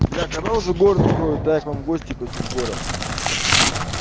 бля когда уже город откроют так к вам в гости хочу в город